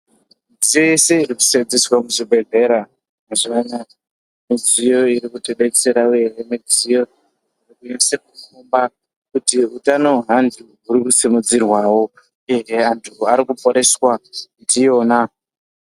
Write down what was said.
Midziyo yese inoseenzeswe muzvibhedhlera mazuva anaya, midziyo iri kutibetsera kwemene, midziyo iri kunase kupa kuti utano wevantu uri kusimudzirwawo ende vantu vari kuporeswa ndiyona.